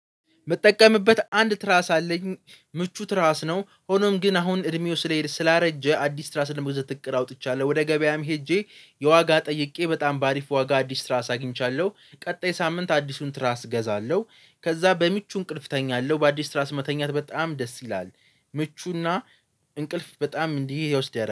ምጠቀምበት አንድ ትራስ አለኝ ምቹ ትራስ ነው ሆኖም ግን አሁን እድሜው ስለሄድ ስላረጀ አዲስ ትራስ ለመግዛት እቅድ አውጥቻለሁ። ወደ ገበያም ሄጄ የዋጋ ጠይቄ በጣም በአሪፍ ዋጋ አዲስ ትራስ አግኝቻለሁ ቀጣይ ሳምንት አዲሱን ትራስ እገዛለሁ። ከዛ በምቹ እንቅልፍ እተኛለሁ በአዲስ ትራስ መተኛት በጣም ደስ ይላል። ምቹና እንቅልፍ በጣም እንዲህ ይወስዳል